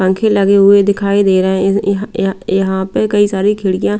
पंखे लगे हुए दिखाई दे रहे हैं यहां यहाँ यहाँ पे कई सारी खिड़कियां--